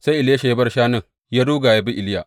Sai Elisha ya bar shanun, ya ruga ya bi Iliya.